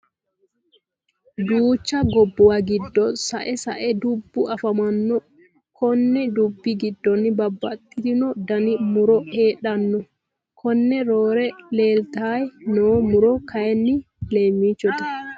Duucha gobbuwa giddo sa'e sa'e dubbu afamanno. Konni dubbu giddono babbaxitino Dani muro heedhdhanno. konne roore leeltayi noo muro kayii leemmichote.